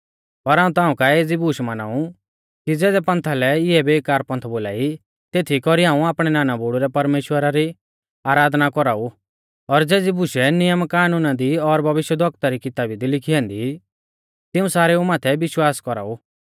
पर हाऊं ताऊं काऐ एज़ी बूश माना ऊ कि ज़ेज़ै पंथा लै इऐ बेकार पंथ बोलाई तेथी कौरी हाऊं आपणै नानाबुड़ु रै परमेश्‍वरा री आराधना कौराऊ और ज़ेज़ी बुशै नियमकानूना दी और भविष्यवक्ताऊ री किताबी दी लिखी ऐन्दी तिऊं सारेऊ माथै विश्वास कौराऊ